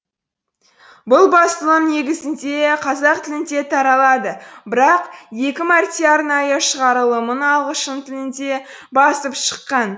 бұл басылым негізінде қазақ тілінде таралады бірақ екі мәрте арнайы шығарылымын ағылшын тілінде басып шыққан